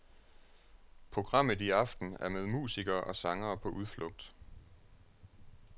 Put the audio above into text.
Programmet i aften er med musikere og sangere på udflugt.